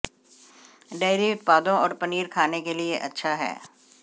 dairy उत्पादों और पनीर खाने के लिए अच्छा है